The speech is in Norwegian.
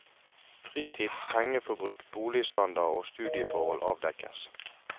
Fritid, pengeforbruk, boligstandard og studieforhold avdekkes.